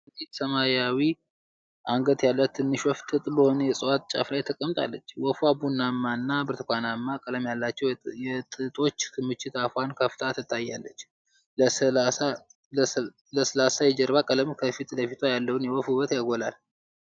አንዲት ሰማያዊ አንገት ያላት ትንሽ ወፍ፤ ጥጥ በሆነ የእጽዋት ጫፍ ላይ ተቀምጣለች። ወፏ ቡናማና ብርቱካናማ ቀለም ያላቸው የጥጦች ክምችት አፏን ከፍታ ትታያለች፤ ለስላሳ የጀርባ ቀለም ከፊት ለፊቷ ያለውን የወፍ ውበት ያጎላል።